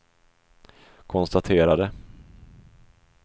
konstaterade